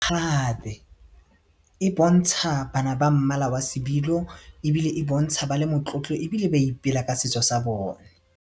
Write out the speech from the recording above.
Gape e bontsha bana ba mmala wa sebilo ebile e bontsha ba le motlotlo ebile ba ipela ka setso sa bone.